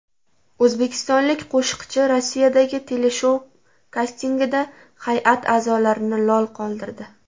O‘zbekistonlik qo‘shiqchi Rossiyadagi teleshou kastingida hay’at a’zolarini lol qoldirdi.